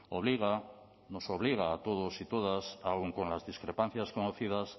obliga nos obliga a todos y todas aun con las discrepancias conocidas